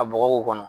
Ka bɔgɔ kɔnɔ